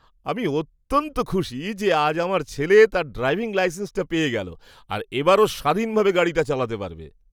আমি অত্যন্ত খুশি যে আজ আমার ছেলে তার ড্রাইভিং লাইসেন্সটা পেয়ে গেল আর এবার ও স্বাধীনভাবে গাড়িটা চালাতে পারবে।